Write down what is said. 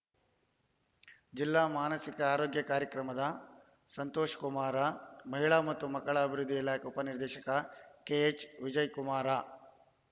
ಜಿಲ್ಲಾ ಮಾನಸಿಕ ಆರೋಗ್ಯ ಕಾರ್ಯಕ್ರಮದ ಸಂತೋಷಕುಮಾರ ಮಹಿಳಾ ಮತ್ತು ಮಕ್ಕಳ ಅಭಿವೃದ್ಧಿ ಇಲಾಖೆ ಉಪ ನಿರ್ದೇಶಕ ಕೆಎಚ್‌ವಿಜಯಕುಮಾರ